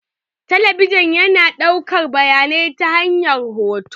Talabijin yana ɗaukar bayanai ta hanyar hoto.